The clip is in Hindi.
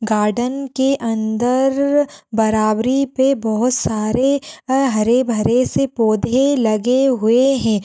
गार्डन के अंदर बराबरी पे बहुत सारे अ हरे भरे से पौधे लगे हुए हैं।